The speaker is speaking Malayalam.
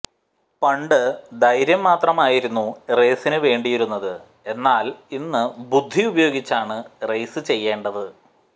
പണ്ട് ധൈര്യം മാത്രമായിരുന്നു റേസിനു വേണ്ടിയിരുന്നത് എന്നാല് ഇന്ന് ബുദ്ധി ഉപയോഗിച്ചാണ് റേസ് ചെയ്യേണ്ടത്